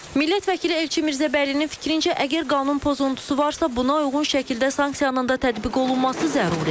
Millət vəkili Elçin Mirzəbəylinin fikrincə, əgər qanun pozuntusu varsa, buna uyğun şəkildə sanksiyanın da tətbiq olunması zəruridir.